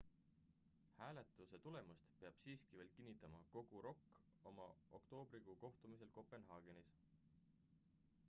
hääletuse tulemuse peab siiski veel kinnitama kogu rok oma oktoobrikuu kohtumisel kopenhaagenis